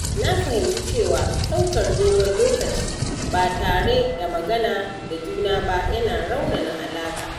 Na fahimci cewa ɗaukar dogon lokaci ba tare da magana da juna ba yana raunana alaƙa.